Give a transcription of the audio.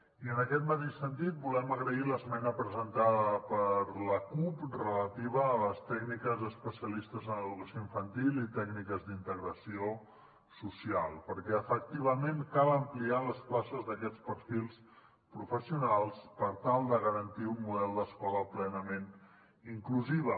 i en aquest mateix sentit volem agrair l’esmena presentada per la cup relativa a les tècniques especialistes en educació infantil i tècniques d’integració social perquè efectivament cal ampliar les places d’aquests perfils professionals per tal de garantir un model d’escola plenament inclusiva